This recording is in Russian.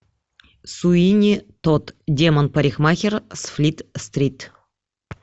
суини тодд демон парикмахер с флит стрит